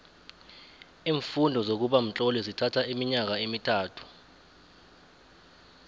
iimfundo zokuba mtloli zithatho iminyaka emithathu